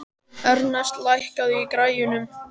Ernest, lækkaðu í græjunum.